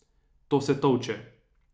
To se tolče.